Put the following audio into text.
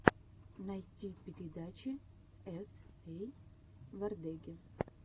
найти передачи эс эй вордеги